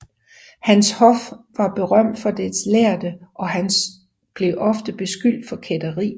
Hans hof var berømt for dets lærde og han blev ofte beskyldt for kætteri